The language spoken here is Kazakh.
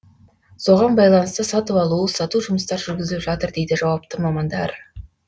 соған байланысты сатып алу сату жұмыстары жүргізіліп жатыр дейді жауапты мамандар